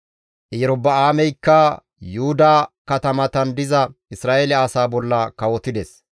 Erobi7aameykka Yuhuda katamatan diza Isra7eele asaa bolla kawotides.